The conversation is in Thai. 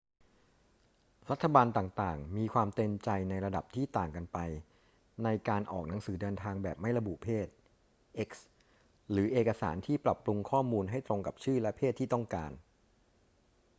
รัฐบาลต่าง ๆ มีความเต็มใจในระดับที่ต่างกันไปในการออกหนังสือเดินทางแบบไม่ระบุเพศ x หรือเอกสารที่ปรับปรุงข้อมูลให้ตรงกับชื่อและเพศที่ต้องการ